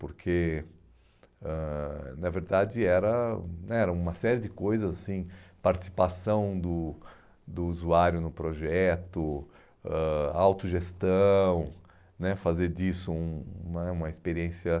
Porque, ãh na verdade, era né era uma série de coisas assim, participação do do usuário no projeto, ãh autogestão né, fazer disso um né uma experiência.